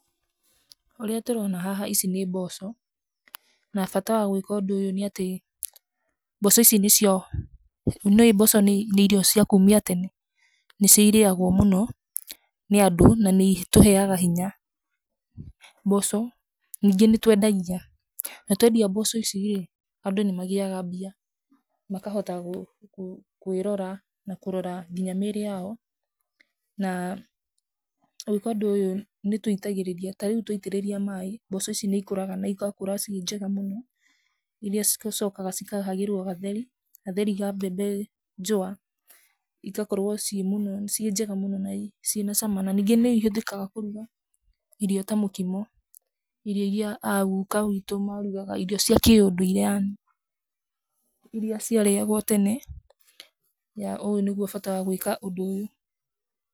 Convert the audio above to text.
Ũrĩa tũrona haha, ici nĩ mboco, na bata wa gwĩka ũndũ ũyũ nĩ atĩ mboco ici nĩcio, nĩ ũĩ mboco nĩ irio cia kumia tene. Nĩcio irĩagwo mũno, nĩandũ na nĩ itũheaga hinya, mboco, ningĩ nĩtwendagia na twendia mboco ici rĩ, andũ nĩmagĩaga mbia, makahota gũ gũ kwĩrora na kũrora nginya mĩrĩ yao, na ũngĩkorwo ndũĩ, nĩtuitagĩrĩrĩria, tarĩu twaitĩrĩria mai, mboco ici nĩ ikũraga na igakũra ciĩ njega mũno, iria cicokaga cikahagĩrwo gatheri, gatheri ka mbembe njua, igakorwo ciĩ mũno ciĩ njega mũno na ciĩ nacama, na ningĩ nĩ ihũthĩkaga kũruga irio ta mũkimo, irio iria a guka witũ marugaga, irio cia kĩũndũire yani, iria ciarĩagwo tene, na ũyũ nĩguo bata wa gwĩka ũndũ ũyũ.